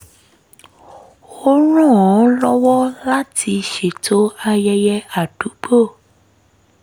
ó ràn án lọ́wọ́ láti ṣètò ayẹyẹ àdúgbò